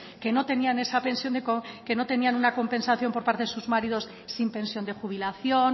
que no tenían esa compensación por parte de sus maridos sin pensión de jubilación